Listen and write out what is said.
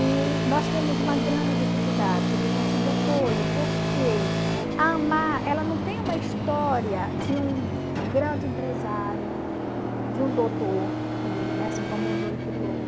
E nós temos uma grande dificuldade de conseguir apoio, porque a AMAR não tem uma história de um grande empresário, de um doutor que, né, se incomodou e criou.